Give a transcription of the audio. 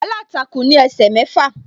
Aláǹtakùn ní ẹsẹ̀ mẹ́fà.